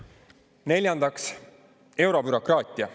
Neljandaks, eurobürokraatia.